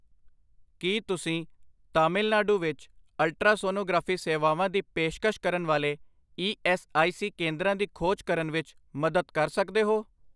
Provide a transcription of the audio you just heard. ਕੀ ਤੁਸੀਂ ਤਾਮਿਲਨਾਡੂ ਵਿੱਚ ਅਲਟਰਾਸੋਨੋਗ੍ਰਾਫੀ ਸੇਵਾਵਾਂ ਦੀ ਪੇਸ਼ਕਸ਼ ਕਰਨ ਵਾਲੇ ਈ ਐੱਸ ਆਈ ਸੀ ਕੇਂਦਰਾਂ ਦੀ ਖੋਜ ਕਰਨ ਵਿੱਚ ਮਦਦ ਕਰ ਸਕਦੇ ਹੋ